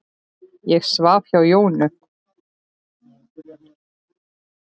Ég svaf hjá Jónu.